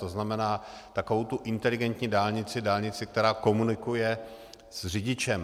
To znamená, takovou tu inteligentní dálnici, dálnici, která komunikuje s řidičem.